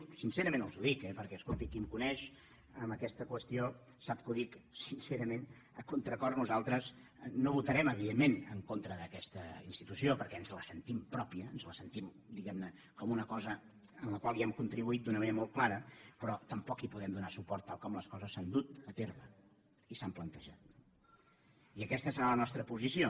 sincerament els ho dic eh perquè escoltin qui em coneix en aquesta qüestió sap que ho dic sincerament a contracor nosaltres no votarem evidentment en contra d’aquesta institució perquè ens la sentim pròpia ens la sentim diguem ne com una cosa en la qual hi hem contribuït d’una manera molt clara però tampoc hi podem donar suport tal com les coses s’han dut a terme i s’han plantejat no i aquesta serà la nostra posició